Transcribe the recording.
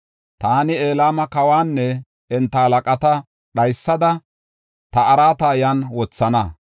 Taani Elama kawanne enta halaqata dhaysada ta araata yan wothana.